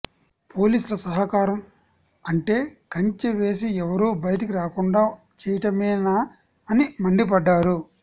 పోలీసుల సహకారం అంటే కంచె వేసి ఎవరూ బయటకు రాకుండా చేయటమేనా అని మండిపడ్డారు